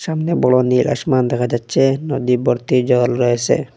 সামনে বড় নীল আসমান দেখা যাচ্ছে নদী ভর্তি জল রয়েসে।